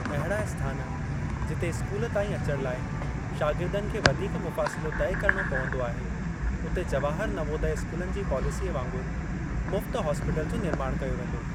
अहिड़ा स्थान, जिते स्कूल ताईं अचण लाइ शागिर्दनि खे वधीक मुफ़ासिलो तइ करिणो पवंदो आहे, उते जवाहर नवोदय स्कूलनि जी पॉलिसीअ वांगुरु मुफ्त हॉस्टिल जो निर्माणु कयो वेंदो।